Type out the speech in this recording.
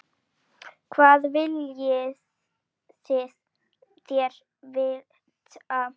Hvað viljið þér vita?